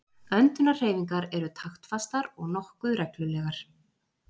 öndunarhreyfingar eru taktfastar og nokkuð reglulegar